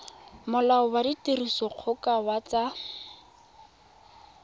molao wa tirisodikgoka wa tsa